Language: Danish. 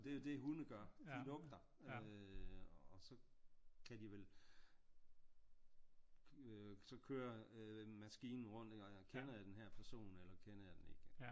Og det er jo det hunde gør de lugter øh og så kan de vel så kører maskinen rundt kender jeg den her person eller kender jeg den ikke